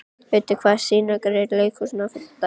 Auddi, hvaða sýningar eru í leikhúsinu á fimmtudaginn?